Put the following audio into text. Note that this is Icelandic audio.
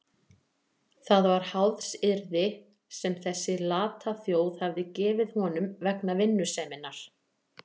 Það var háðsyrði sem þessi lata þjóð hafði gefið honum vegna vinnuseminnar.